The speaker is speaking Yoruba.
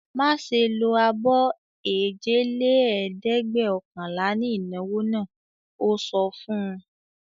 "Má ṣe lo abọ́ èjelẹ́ẹ̀dẹ́gbẹ̀ọ̀kànlá ní ìnáwó náà!" Ó sọ fún un.